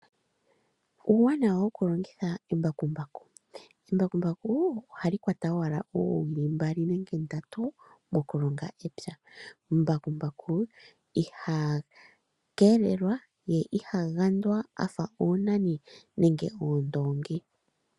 Uuwanawa wokulongitha embakumbaku. Embakumbaku ohali kwata owala oowiili mbali nenge ndatu, mokulonga epya. Mbakumbaku iha keelelwa, ye iha gandwa afa oonani, nenge oondoongi.